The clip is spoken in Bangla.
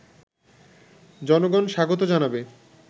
জনগণ স্বাগত জানাবে